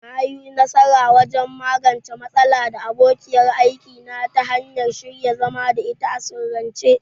Na yi nasara wajen magance matsala da abokiyar aiki na ta hanyar shirya zama da ita a sirrance.